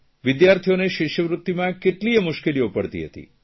વિદ્યાર્થીઓને શિષ્યવૃત્તિમાં કેટલીયે મુશ્કેલીઓ પડતી હતી